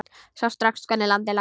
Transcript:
Sá strax hvernig landið lá.